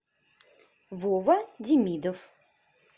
вова демидов